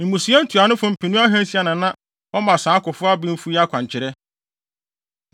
Mmusua ntuanofo mpenu ahansia na na wɔma saa akofo abenfo yi akwankyerɛ.